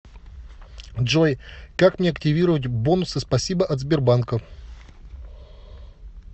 джой как мне активировать бонусы спасибо от сбербанка